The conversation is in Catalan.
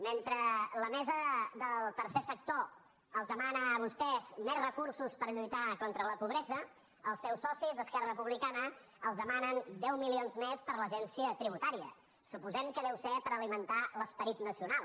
mentre la mesa del tercer sector els demana a vos·tès més recursos per lluitar contra la pobresa els seus socis d’esquerra republicana els demanen deu milions més per a l’agència tributària suposem que deu ser per alimentar l’esperit nacional